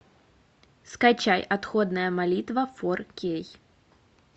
скачай отходная молитва фор кей